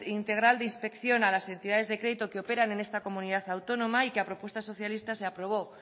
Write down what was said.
integral de inspección a las entidades de crédito que operan en esta comunidad autónoma y que a propuesta socialista se aprobó